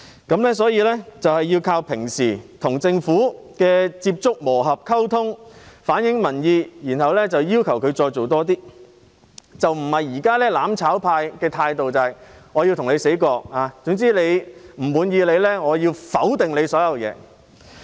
因此，我們要靠日常與政府接觸、磨合和溝通來反映民意，之後再要求政府多做一點，而不是像"攬炒派"現在奉行"你死我亡"的態度，總之有不滿便要全盤否定政府的一切。